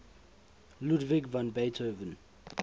ludwig van beethoven